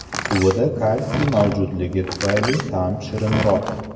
Suvida kalsiy mavjudligi tufayli ta’mi shirinroq.